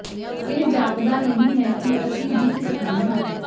ਇਹ ਜਾਪਦਾ ਨਹੀਂ ਹੈ ਕਿ ਅਸੀਂ ਜਿੱਤ ਸਕਦੇ ਹਾਂ